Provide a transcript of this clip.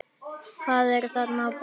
Hvað lá þarna að baki?